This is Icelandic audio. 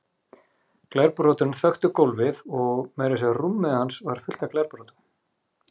Glerbrotin þöktu gólfið og meira að segja rúmið hans var fullt af glerbrotum.